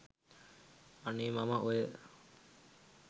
අනේ මම ඔය